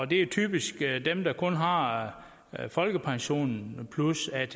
det er typisk dem der kun har folkepensionen plus atp